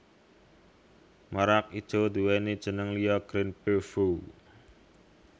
Merak ijo nduwèni jeneng liya Green Peafow